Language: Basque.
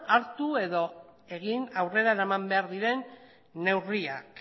hartu edo egin aurrera eraman behar diren neurriak